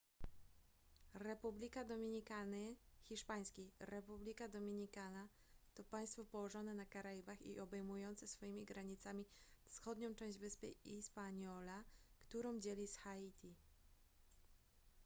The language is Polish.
republika dominikany hiszp. república dominicana to państwo położone na karaibach i obejmujące swoimi granicami wschodnią część wyspy hispaniola którą dzieli z haiti